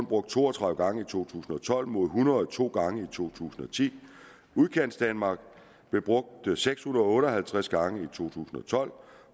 brugt to og tredive gange i to tusind og tolv mod en hundrede og to gange i to tusind og ti udkantsdanmark blev brugt seks hundrede og otte og halvtreds gange i tusind og tolv